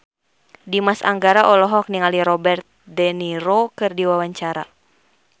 Dimas Anggara olohok ningali Robert de Niro keur diwawancara